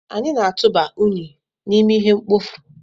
Anyị na-atụba unyi n'ime ihe mkpofu.